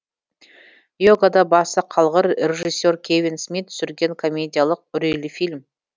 йогада басы қалғыр режиссер кевин смит түсірген комедиялық үрейлі фильм